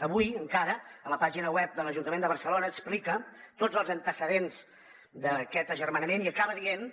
avui encara la pàgina web de l’ajuntament de barcelona explica tots els antecedents d’aquest agermanament i acaba dient